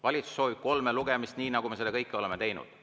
Valitsus soovib kolme lugemist, nii nagu me seda oleme teinud.